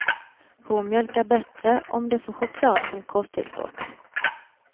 Kor mjölkar bättre om de får choklad som kosttillskott.